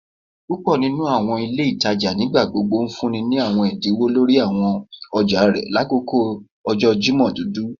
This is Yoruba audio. Púpò nínú àwọn ilé ìtajà nigbagbogbo ńfúnni ní àwọn ẹdínwó lórí àwọn ọjà rẹ lakoko ọjọ Jimọ dudu